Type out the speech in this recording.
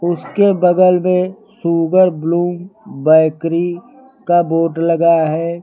इसके बगल में शुगर ब्लूम बेकरी का बोर्ड लगा है।